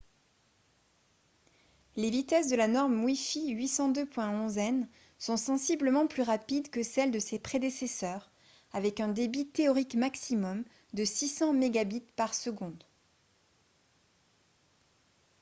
les vitesses de la norme wi-fi 802.11n sont sensiblement plus rapides que celles de ses prédécesseurs avec un débit théorique maximum de 600 mbit/s